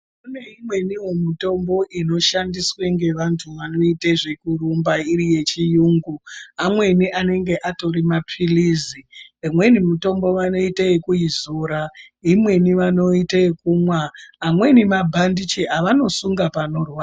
Kune imweni mitombo inoshandiswa nevanhu vekurumba yechiyungu amweni anenge atorimapirizi imwe mitombo vanoita yekuizora imweni vanoita yekumwa imweni mabhandichi avanosunga panorwadza .